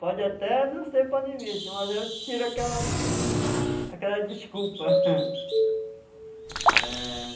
Pode até não ser panemista, mas eu tiro aquela aquela desculpa. É...